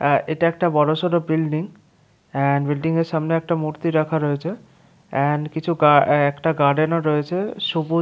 অ্য এটা একটা বড় সর বিল্ডিং বিল্ডিং এর সামনে একটা মূর্তি রাখা রয়েছে এন্ড কিছু একটা গার্ডেন ও রয়েছে সবু --